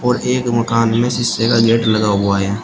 और एक मकान में शीशे का गेट लगा हुआ है।